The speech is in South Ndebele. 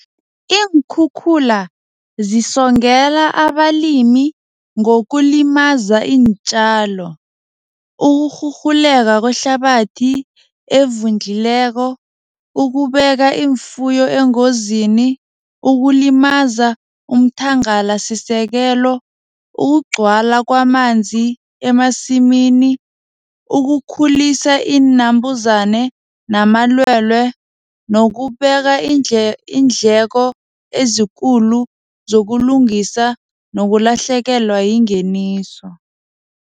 Iinkhukhula zisongela abalimi ngokulimaza iintjalo. Ukurhurhuleke kwehlabathi evundlileko, ukubeka iimfuyo engozini, ukulimaza umthangalasisekelo, ukugcwala kwamanzi emasimini, ukukhulisa iinambuzane namalwelwe nokubeka iindleko ezikulu zokulungisa nokulahlekelwa yingeniso.